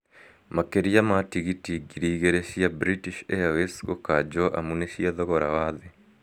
Makĩria ma tigiti ngiri igĩrĩ cia British Airways gũkanjwo amu nĩ cia thogora wa thĩ